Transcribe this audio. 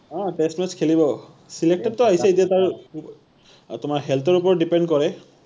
অ test match খেলিব, select ত টো আহিছে এতিয়া তাৰ তোমাৰ health ৰ ওপৰত depend কৰে।